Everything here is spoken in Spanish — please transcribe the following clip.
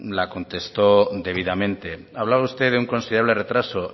la contestó debidamente hablaba usted de un considerable retraso